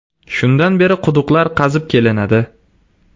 Shundan beri quduqlar qazib kelinadi.